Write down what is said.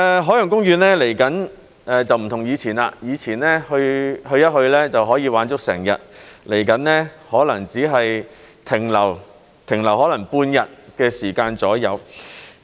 海洋公園未來會與以前不同，以前去一去就可以玩足整日，未來可能只是停留大概半天。